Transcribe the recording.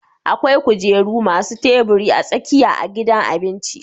akwai kujeru masu tabiri a tsakiya a gidan abinci